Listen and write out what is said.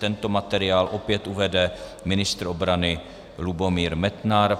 Tento materiál opět uvede ministr obrany Lubomír Metnar.